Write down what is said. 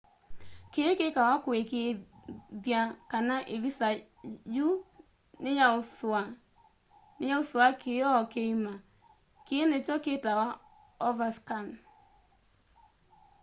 kii kikawa kuikiithya kana ivisa yu niyausua kioo kiima kii nikyo kitawa overscan